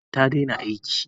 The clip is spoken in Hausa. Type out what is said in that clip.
Tanda ta daina aiki.